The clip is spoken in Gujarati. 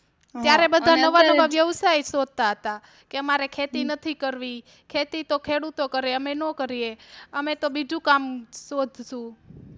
ત્યારે તો બધા નવા નવા વ્યવસાય શોધતા હતા, કે અમારે ખેતી નથી કરવી ખેતી તો ખેડૂતો કરે અમે ન કરીયે અમે તો બીજું કામ શોધશુ